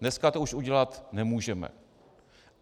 Dneska to už udělat nemůžeme.